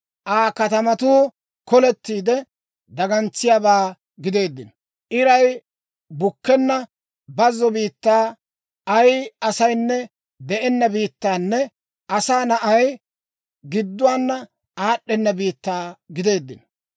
Aa katamatuu kolettiide, dagantsiyaabaa gideeddino; iray bukkenna bazzo biittaa, ay asaynne de'enna biittanne asaa na'ay gidduwaana aad'd'ena biittaa gideeddino.